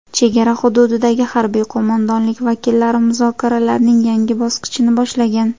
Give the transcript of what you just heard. Chegara hududidagi harbiy qo‘mondonlik vakillari muzokaralarning yangi bosqichini boshlagan.